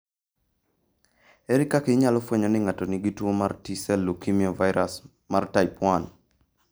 Ere kaka inyalofweny ni ng'ato nigi tuo mar T sel leukemia virus, mar type 1?